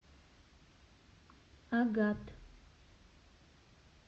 агат